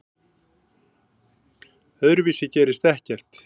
Öðruvísi gerist ekkert.